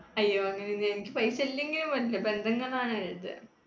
അയ്യോ, എനിക്ക് പൈസ ഇല്ലെങ്കിലും കുഴപ്പമില്ല, ബന്ധങ്ങൾ ആണ് വലുത്.